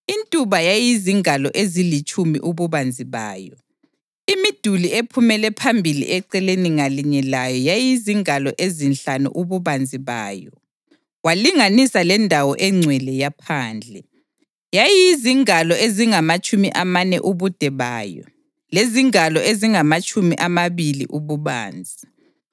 Intuba yayizingalo ezilitshumi ububanzi bayo. Imiduli ephumele phambili eceleni ngalinye layo yayizingalo ezinhlanu ububanzi bayo. Walinganisa lendawo engcwele yaphandle; yayizingalo ezingamatshumi amane ubude bayo lezingalo ezingamatshumi amabili ububanzi.